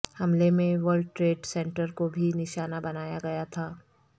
حملے میں world trade centre کو بھی نشانہ بنایا گیا تھا